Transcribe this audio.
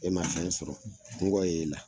E ma fɛn sɔrɔ, kɔngɔ y'e la.